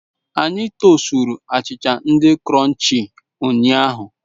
Anyị tosturu achịcha di krọnchii ụnyahụ.